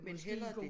Men hellere dét